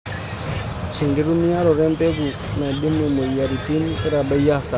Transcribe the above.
Enkitumiaroto ebeku naidimu moyiaritin keitadoyio asara.